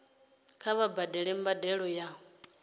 kha vha badele mbadelo ya